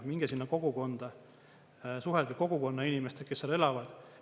Minge sinna kogukonda, suhelge kogukonna inimestega, kes seal elavad.